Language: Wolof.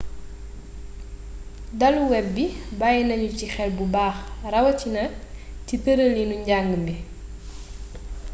dalu web bi bàyyi nanu ci xel bu baax rawatina ci tëëln njàng mi